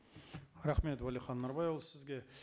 рахмет уәлихан анарбайұлы сізге